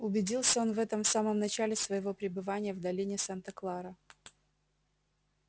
убедился он в этом в самом начале своего пребывания в долине санта клара